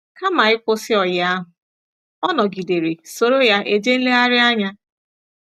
Kama ịkwụsị ọyi ahụ, ọ nọgidere soro ya eje nlegharị anya.